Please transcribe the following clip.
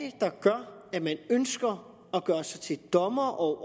hvad man ønsker at gøre sig til dommer over